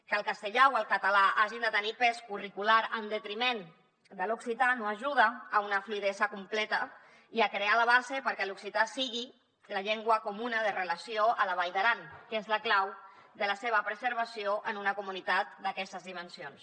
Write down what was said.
que el castellà o el català hagin de tenir pes curricular en detriment de l’occità no ajuda a una fluïdesa completa i a crear la base perquè l’occità sigui la llengua comuna de relació a la vall d’aran que és la clau de la seva preservació en una comunitat d’aquestes dimensions